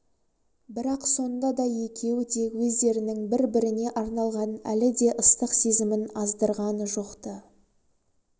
бірақ сонда да екеуі де өздерінің бір-біріне арналған әлі де ыстық сезімін аздырған жоқ-ты